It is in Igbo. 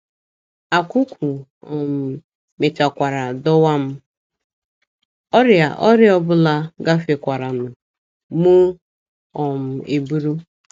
Akwụkwụ um mechakwara dọwa m, ọrịa ọrịa ọ bụla gafekwaranụ mụ um eburu.